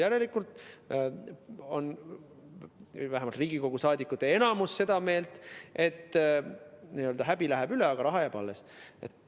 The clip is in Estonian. Järelikult on vähemalt Riigikogu liimete enamus n‑ö seda meelt, et häbi läheb üle, aga raha jääb alles.